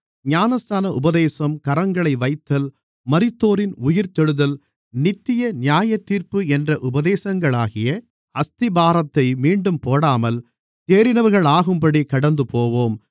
ஞானஸ்நான உபதேசம் கரங்களை வைத்தல் மரித்தோரின் உயிர்த்தெழுதல் நித்திய நியாயத்தீர்ப்பு என்ற உபதேசங்களாகிய அஸ்திபாரத்தை மீண்டும் போடாமல் தேறினவர்களாகும்படி கடந்துபோவோம்